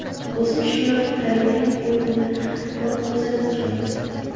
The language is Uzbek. O‘zim Shimoliy Koreyaning o‘yinini ko‘rib, kuzatib keldim.